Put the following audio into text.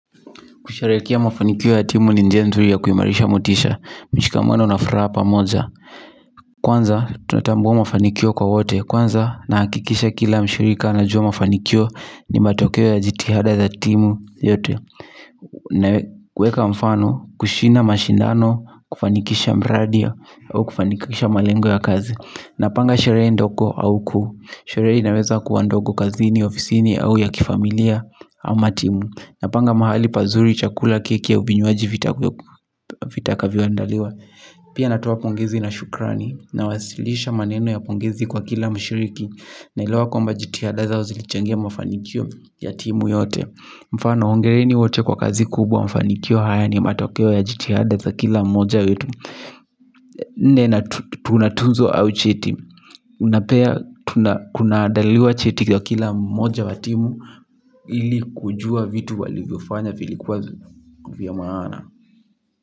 Kusherehekea mafanikio ya timu ni njia nzuri ya kuimarisha motisha. Mishikamano na furaha pamoja. Kwanza, tunatambua mafanikio kwa wote. Kwanza, nahakikisha kila mshirika anajua mafanikio ni matokeo ya jitihada za timu yote. Kuweka mfano, kushina mashindano, kufanikisha mradi ya, au kufanikisha malengo ya kazi. Napanga sherehe ndogo au kuu. Sherehe inaweza kuwa ndogo kazini, ofisini au ya kifamilia, ama timu. Napanga mahali pazuri chakula keki au vinywaji vitakuwepo vitakavyoandaliwa. Pia natoa pongezi na shukrani. Nawasilisha maneno ya pongezi kwa kila mshiriki. Naelewa kwamba jitihada zao zilichangia mafanikio ya timu yote. Mfano hongereni wote kwa kazi kubwa mafanikio haya ni matokeo ya jitihada za kila mmoja wetu. Nne na tuna tuzo au cheti na pia kunaandaliwa cheti kwa kila mmoja wa timu ili kujua vitu walivyofanya vilikuwa vya maana.